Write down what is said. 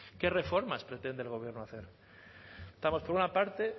qué reformas pretende el gobierno hacer estamos por una parte